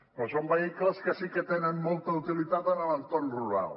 però són vehicles que sí que tenen molta utilitat en l’entorn rural